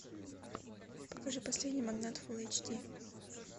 покажи последний магнат фул эйч ди